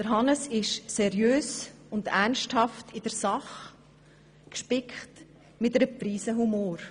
Hannes ist seriös und ernsthaft in der Sache, gespickt mit einer Prise Humor.